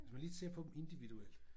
Hvis man lige ser på dem individuelt